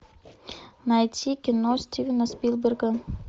найти кино стивена спилберга